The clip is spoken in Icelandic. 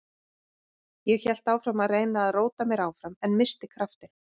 Ég hélt áfram að reyna að róta mér áfram en missti kraftinn.